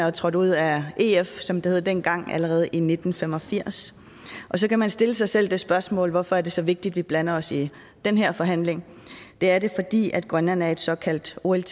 og trådte ud af ef som det hed dengang allerede i nitten fem og firs og så kan man stille sig selv det spørgsmål hvorfor er det så vigtigt at vi blander os i den her forhandling det er det fordi grønland er et såkaldt olt